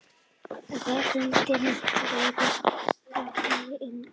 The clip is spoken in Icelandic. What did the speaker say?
Veröldin ryðst fljótlega inn.